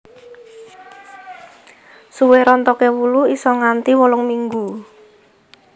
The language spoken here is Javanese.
Suwe rontoke wulu isa nganti wolung minggu